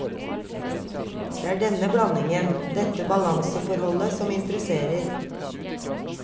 Det er denne blandingen, dette balanseforholdet, som interesserer.